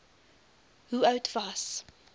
hoe oud was